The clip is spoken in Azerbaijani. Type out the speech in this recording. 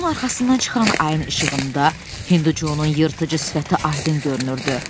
Buludun arxasından çıxan ayın işığında Hindu Conun yırtıcı sifəti aydın görünürdü.